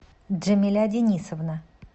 джамиля денисовна